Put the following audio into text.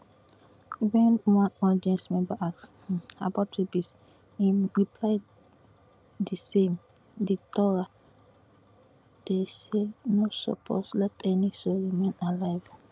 wen one audience member ask um about babies im reply di same di torah dey say you no suppose let any soul remain alive